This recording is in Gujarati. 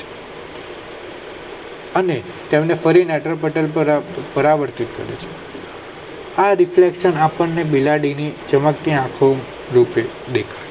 અને તેમને ફરી નેત્ર પટલ પર પ્રવરતી થાય છે આ રીતે આપણે બિલાડી ની ચમકતી આંખો રીતે દેખાય